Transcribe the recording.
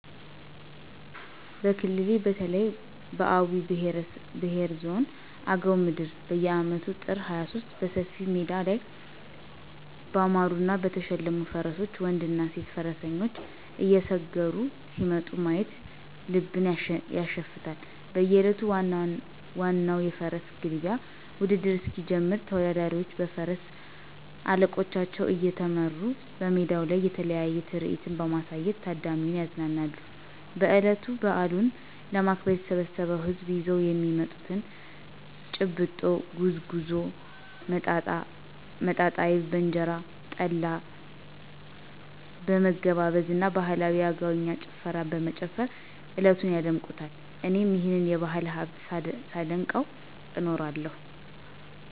በክልሌ በተለይ በአዊ ብሄረሰብ ዞን አገው ምድር በየአመቱ ጥር 23 በሰፊ ሜዳ ላይ ባማሩና በተሸለሙ ፈረሶች ወንድና ሴት ፈረሰኞች እየሰገሩ ሲመጡ ማየት ልብን ያሸፍታል። በእለቱ ዋናው የፈረስ ግልቢያ ውድድር እስኪጀምር ተወዳዳሪዎቹ በፈረስ አለቆቻቸው እየተመሩ በሜዳው ላይ የተለያየ ትርኢት በማሳየት ታዳሚውን ያዝናናሉ። በእለቱ በአሉን ለማክበር የተሰበሰው ህዝብም ይዘው የሚመጡትን :- ጭብጦ፣ ጉዝጉዞ፣ መጣጣ አይብ በእንጀራ፣ ጠላ በመገባበዝ እና ባህላዊ የአገውኛ ጭፈራ በመጨፈር እለቱን ያደምቁታል። እኔም ይህንን የባህል ሀብት ሳደንቀው እኖራለሁ።